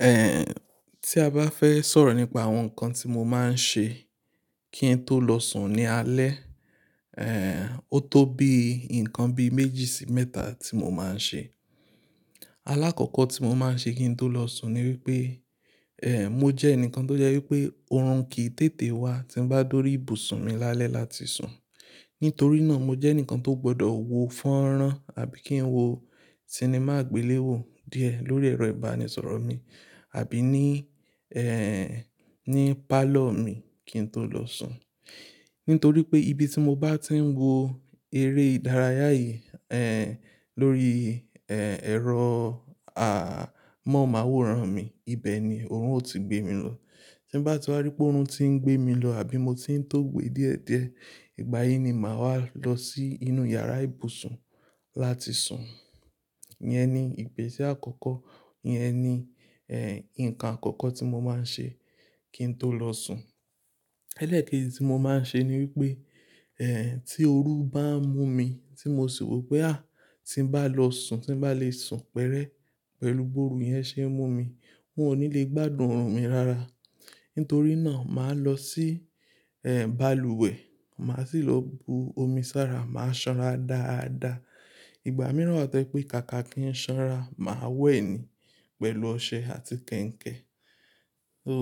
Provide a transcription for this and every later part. Eh, tí a bá fẹ́ sọ̀rọ̀ nípa àwọn nǹkan tí mo máa ń ṣe kí n tó lọ sùn ní alẹ́, eh, ó tó bí nǹkan bí méjì sí mẹ́ta tí mo máa ń ṣe. Alákọ̀ọ́kọ̀ tí mo máa ń ṣe kí n tó lọ sùn ni wípé, eh, mo jẹ́ ẹnìkan tó jẹ́ wípé orun kì í tètè wá tí ń bá dòri ibùsùn mi lálẹ́ láti sùn. Nítorí náà mo jẹ́ ẹnìkan tó gbọdọ̀ wò fọ́nrán àbí kí n wo sinimá àgbéléwò díẹ̀ lórí ẹ̀rọ ìbánisọ̀rọ̀ mi àbí ní, eh, ní pálọ̀ mi kí n tó lọ sùn. Nítorí pé ibi tí mo bá ti ń wo eré ìdárayá yìí, eh, lórí, eh, ẹ̀rọ, ah, mọ̀nmáwòrán mi, ibẹ̀ ni òórùn ó ti gbé mi lọ. Tí ń bá ti wá rí pé òórùn ti ń gbé mi lọ àbí mo ti ń tó gbe díẹ̀ díẹ̀, ìgbà yìí ni màá wá lọ sí inú yàrá ìbùsùn láti sùn. Yẹn ni ìgbésẹ̀ àkọ́kọ́, yẹn ni, eh, nǹkan àkọ́kọ́ tí mo máa ń ṣe kí n tó lọ sùn. Elékèdi tí mo máa ń ṣe ni wípé, eh, tí òru bá ń mú mi tí mo sì rò pé, à, tí ń bá lọ sùn, tí ń bá lè sùn pẹ́rẹ́ pẹ̀lú gbóòórù yẹn ṣe ń mú mi, wọn ò ní lè gbádùn òórùn mi rara. Nítorí náà màá lọ sí, eh, balùwẹ̀, màá sì lọ bu omi sára, màá sanra dáadáa. Ìgbà mìíràn tẹ pé kàkà kí ń sanra, màá wẹ̀ ni pẹ̀lú ọṣẹ àti kẹ̀ǹkẹ̀. So,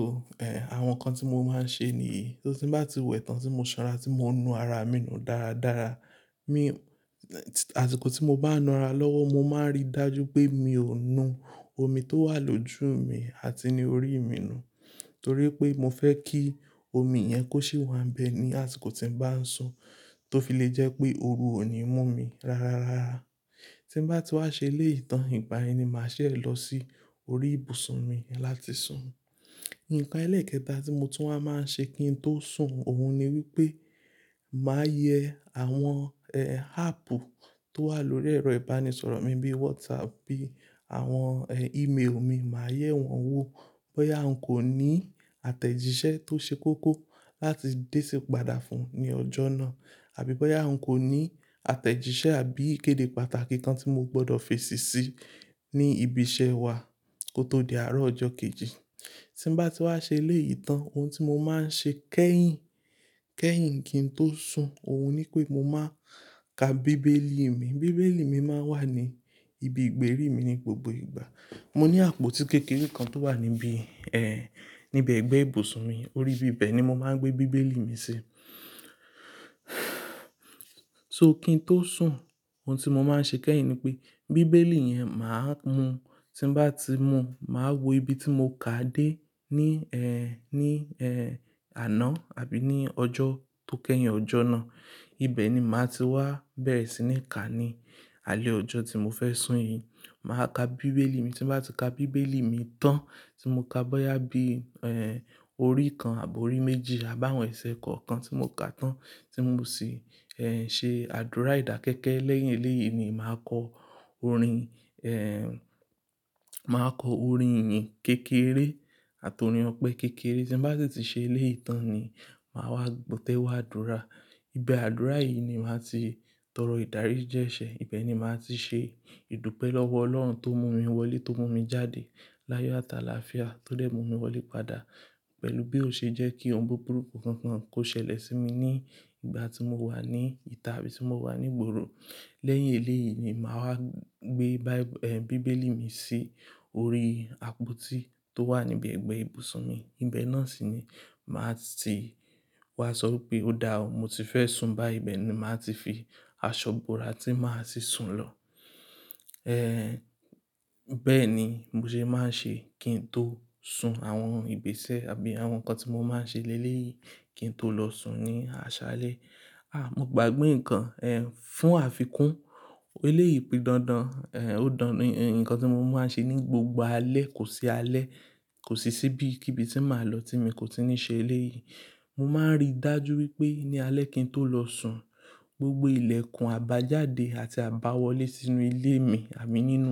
eh, àwọn nǹkan tí mo máa ń ṣe nìyí. So tí ń bá ti wẹ̀ tán tí mo sanra tí mo ń nu ara mi nù dáradára, mi-- àtìkò tí mo bá ń nu ara lọ́wọ́ mo máa ń rí dájú pé mi ò nu omi tó wà lójú mi àti ní orí mi nù. Torí pé mo fẹ́ kí omi yẹn kó sì wà nbẹ̀ ni àtíkò tí ń bá ń sùn tó fi lè jẹ́ pé òru ò ní mú mi rararara. Tí ń bá ti wá ṣe ilé ìtàn, ìgbà yén ni màá ṣẹ̀ lọ sí orí ìbùsùn mi én láti sùn. Nǹkan elékẹta tí mo tún wa máa ń ṣe kí n tó sùn òun ni wípé màá yẹ àwọn, eh, áàpù tó wà lórí ẹ̀rọ ìbánisọ̀rọ̀ mi bí WhatsApp, bí àwọn, eh, email mi, màá yẹ wọ́n wò bóyà n kò ní àtẹ̀jíṣẹ́ tó ṣe kókó láti dé sí padà fún ní ọjọ́ náà àbí bóyá n kò ní àtẹ̀jíṣẹ́ àbí ìkéde pàtàkì kan tí mo gbọdọ̀ fèsì sí ní ibi iṣẹ́ wa kó tó di àárọ̀ ọjọ́ kejì. Tí ń bá ti wá ṣe ilé ìtàn, ohun tí mo máa ń ṣe kẹ́yìn, kẹ́yìn kí n tó sùn òun ni pé mo máa ka bíbélì mi. Bíbélì mi máa ń wà ní ibi ìgbérí mi ní gbogbo ìgbà. Mo ní àpótí kékeré kan tó wà níbí, eh, níbi ẹ̀gbẹ́ ìbùsùn mi, orí ibẹ̀ ni mo máa ń gbé bíbélì mi sí. So kí n tó sùn, ohun tí mo máa ń ṣe kẹ́yìn ni pé bíbélì yẹn màá mú, tí ń bá ti mú, màá wo ibi tí mo ká dé ní, eh, ní, eh, àná àbí ní ọjọ́ tó kẹ́yìn ọjọ́ náà. Ibẹ̀ ni màá ti wá bẹ̀rẹ̀ sí ní kà ní alẹ́ ọjọ́ tí mo fẹ́ sùn yìí. Màá ka bíbélì mi, tí ń bá ti ka bíbélì mi tán tí mo ká bóyá bí, eh, orí kan àbó orí méjì àbá àwọn ẹ̀sẹ̀ kọ̀ọ̀kan tí mo ká tán tí ń mú sì, eh, ṣe àdúrà ìdákẹ́kẹ́. Lẹ́yìn eléyìí ni màá kọ orin, eh, màá kọ orin ìyín kékeré àti orin ọpẹ́ kékeré. Tí ń bá sì ti ṣe èlèyi tàn ni màá wá tẹ́wá àdúrà. Ibi àdúrà yìí ni màá ti tọrọ ìdaríji ẹ́ṣẹ́, ibẹ̀ ni màá ti ṣe ìdúpẹ́ lọ́wọ́ Ọlọ́run tó mú mi wọlé tó mú mi jáde láyọ̀ ata láfià tó lè mú mi wọlé padà pẹ̀lú bí ó ṣe jẹ́ kí ohun buburu kunkunkun kó ṣẹlẹ̀ sí mi ní ìgbà tí mo wà ní ìta àbí tí mo wà ní ìgboro. Lẹ́yìn eléyìí ni màá wá gbé báí-- eh, bíbélì mi sí orí àpótí tó wà níbi ẹ̀gbẹ́ ìbùsùn mi. Ibẹ̀ náà sì ni màá ti wá sọ ipé ó dáa, mo ti fẹ́ sùn bá, ibẹ̀ ni màá ti fi aṣọ bora tí màá sì sùn lọ. Eh, bẹ́ẹ̀ ni mo ṣe máa ń ṣe kí n tó sùn. Àwọn ìgbésẹ̀ àbí àwọn nǹkan tí mo máa ń ṣe lé léyìí kí n tó lọ sùn ní aṣálẹ́. Ah, mo gbàgbé nǹkan, eh, fún àfikún. Eléyìí pidán dandan, eh, ó dán ni, nǹkan tí mo máa ń ṣe ní gbogbo alẹ́, kò sí alẹ́, kò sí síbí kíbi tí màá lọ tí mi kò tí ì ní ṣe eléyìí. Mo máa ń rí dájú wípé ní alẹ́ kí n tó lọ sùn, gbogbo ilẹ̀kùn àbájáde àti àbáwọlé sínú ilé mi àbí nínú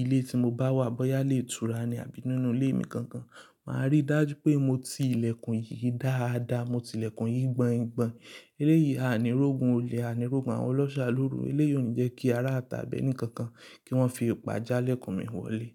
ilé tí mo bá wà bóyá ilé ìtura ni àbí nínú ilé mi gangan, màá rí dájú pé mo ti ilẹ̀kùn yìí dáadáa, mo ti ilẹ̀kùn yìí gbọn-gbọn. Eléyìí a ní rógun olè, a ní rógun àwọn ọlọ́ṣà lóru, eléyìí ò ní jẹ́ kí ará tàbí ẹnì kankan kí wọ́n fi òòpà já ilẹ̀kùn mi wọlé.